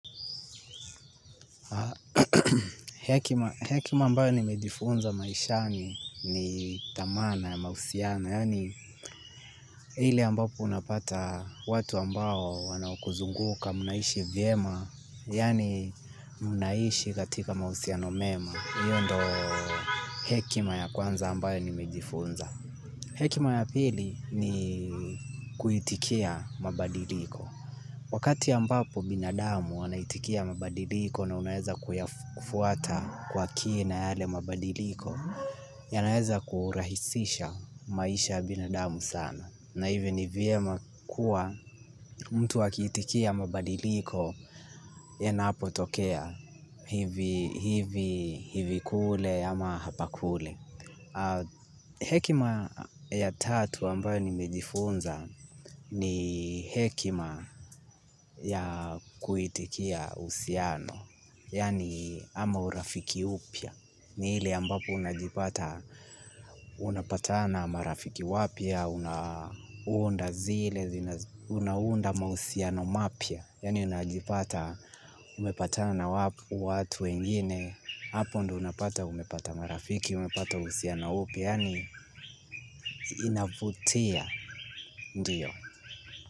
Hekima ambayo nimejifunza maishani ni thamana ya mahusiano, yaani ile ambapo unapata watu ambao wanaokuzunguka mnaishi vyema, yaani mnaishi katika mahusiano mema. Iyo ndo hekima ya kwanza ambayo nimejifunza. Hekima ya pili ni kuitikia mabadiliko. Wakati ambapo binadamu wanaitikia mabadiliko na unaeza kufuata kwa kina yale mabadiliko, yanaeza kurahisisha maisha ya binadamu sana. Na hivi ni vyema kuwa mtu akiitikia mabadiliko yanapotokea hivi hivi kule ama hapa kule. Hekima ya tatu ambayo nimejifunza ni hekima ya kuitikia uhusiano yaani ama urafiki upya. Ni ile ambapo unajipata na marafiki wapya unaunda zile, unaunda mahusiano mapya yaani unajipata umepatana na watu wengine. Hapo ndo unapata umepata marafiki, umepata uhusiano upya yaani inavutia ndiyo.